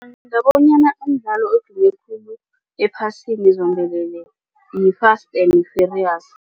Ngicabanga bonyana umdlalo odume khulu ephasini zombelele yi-Fast and Furious.